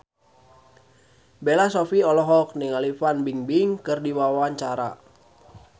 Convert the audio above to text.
Bella Shofie olohok ningali Fan Bingbing keur diwawancara